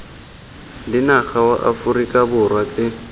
lenaga wa aforika borwa tse